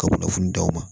Ka kunnafoni d'aw ma